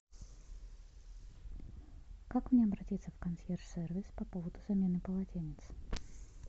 как мне обратиться в консьерж сервис по поводу замены полотенец